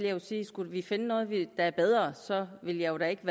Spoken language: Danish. jeg jo sige at skulle vi finde noget der er bedre så vil jeg da ikke